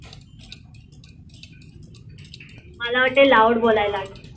मला वाटतं loud बोलाय लागेल.